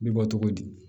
Bi bɔ cogo di